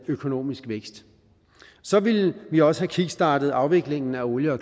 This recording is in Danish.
økonomisk vækst så ville vi også have kickstartet afviklingen af olie og